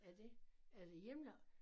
Er det er det hjemmelavet